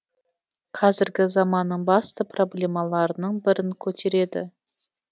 қазіргі заманның басты проблемаларының бірін көтереді